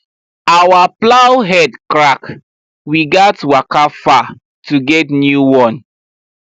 our plow head crack we gats waka far to get new one